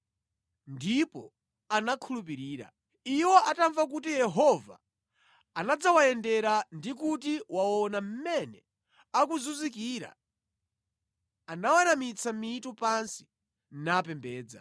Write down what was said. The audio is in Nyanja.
ndipo anakhulupirira. Iwo atamva kuti Yehova anadzawayendera ndi kuti waona mmene akuzunzikira, anaweramitsa mitu pansi napembedza.